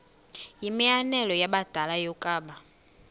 yimianelo yabadala yokaba